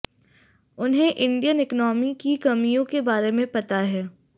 उन्हें Indian economy की कमियों के बारे में पता है